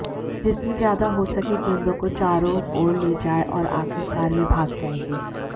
जितनी ज्यादा हो सके गेंदों को चारों ओर ले जाएं और आखिरकार वे भाग जाएंगे